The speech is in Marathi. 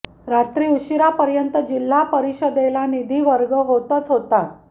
रात्री उशिरापर्यंत जिल्हा परिषदेला निधी वर्ग होतच होता